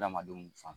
Hadamadenw fan